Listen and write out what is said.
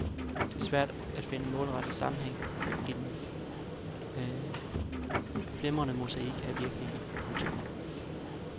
Det er svært at finde målrettet sammenhæng i den flimrende mosaik af virkninger. punktum